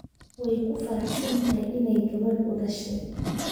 Way ku faraxsan tahay inay gabadh u dhashay